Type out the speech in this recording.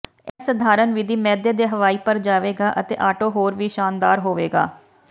ਇਹ ਸਧਾਰਨ ਵਿਧੀ ਮੈਦੇ ਦੇ ਹਵਾਈ ਭਰ ਜਾਵੇਗਾ ਅਤੇ ਆਟੇ ਹੋਰ ਵੀ ਸ਼ਾਨਦਾਰ ਹੋਵੇਗਾ